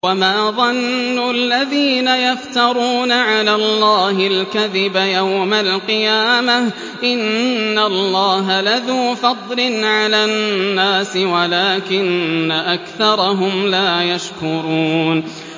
وَمَا ظَنُّ الَّذِينَ يَفْتَرُونَ عَلَى اللَّهِ الْكَذِبَ يَوْمَ الْقِيَامَةِ ۗ إِنَّ اللَّهَ لَذُو فَضْلٍ عَلَى النَّاسِ وَلَٰكِنَّ أَكْثَرَهُمْ لَا يَشْكُرُونَ